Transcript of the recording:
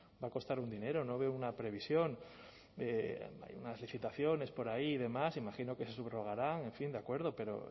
va a costar un dinero no veo una previsión hay unas licitaciones por ahí de más imagino que se subrogarán en fin de acuerdo pero